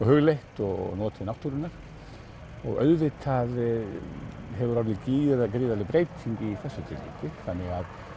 hugleitt og notið náttúrunnar og auðvitar hefur orðið gríðarleg breyting í þessu þannig